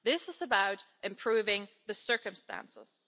This is about improving the circumstances.